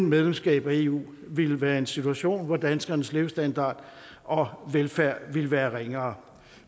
medlemskab af eu ville være i en situation hvor danskernes levestandard og velfærd ville være ringere